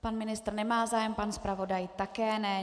Pan ministr nemá zájem, pan zpravodaj také ne.